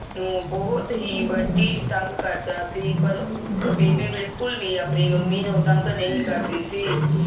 ਨੂੰ ਬੰਟੀ ਬਹੁਤ ਹੀ ਤੰਗ ਕਰਦਾ ਸੀ ਪਰ ਬੀਬੀ ਬਿਲਕੁਲ ਵੀ ਨਹੀਂ ਮੰਮੀ ਨੂੰ ਤੰਗ ਕਰਦੀ ਸੀ